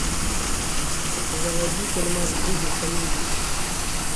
заводи фильмас в духе комедии